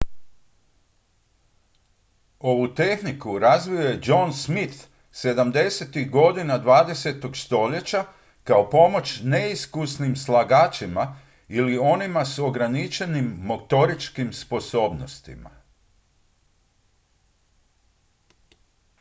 ovu tehniku razvio je john smith 70-ih godina 20. stoljeća kao pomoć neiskusnim slagačima ili onima s ograničenim motoričkim sposobnostima